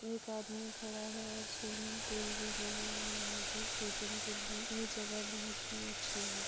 एक आदमी खड़ा है और स्विमिंग पूल भी बना है यहाँ पे शूटिंग के लिए ये जगह बहुत ही अच्छी है।